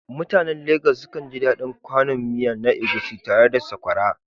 Mutanen Legas sukan ji daɗin kwanon miya na Egusi tare da sakwara